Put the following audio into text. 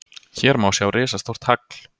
Hér má sjá risastórt hagl!